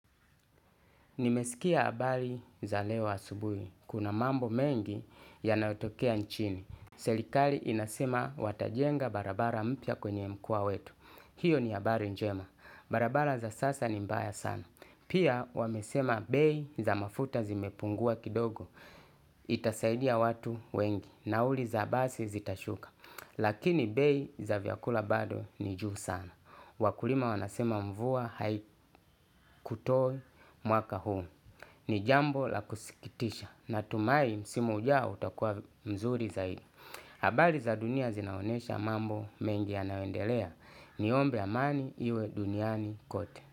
Nimeskia abari za leo asubui. Kuna mambo mengi, yanayotokea nchini. Selikali inasema watajenga barabara mpya kwenye mkoa wetu. Hiyo ni abari njema. Barabara za sasa ni mbaya sana. Pia, wamesema bei za mafuta zimepungua kidogo itasadia watu wengi. Nauli za basi zitashuka. Lakini bei za vyakula bado ni juu sana. Wakulima wanasema mvua haikutoi mwaka huu. Ni jambo la kusikitisha natumai msimu ujao utakuwa nzuri zaidi. Habari za dunia zinaonesha mambo mengi yanaoendelea. Niombe amani iwe duniani kote.